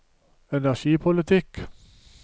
energipolitikk